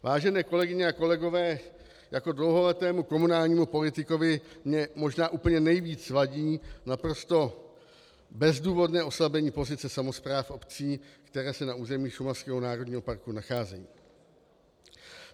Vážené kolegyně a kolegové, jako dlouholetému komunálnímu politikovi mně možná úplně nejvíc vadí naprosto bezdůvodné oslabení pozice samospráv obcí, které se na území šumavského národního parku nacházejí.